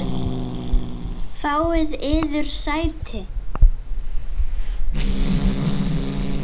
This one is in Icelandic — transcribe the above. Fáið yður sæti.